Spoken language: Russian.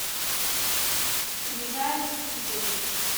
скрижали судьбы